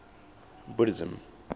buddhism